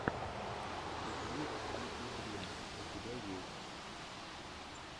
сикритлитудрим у тебя есть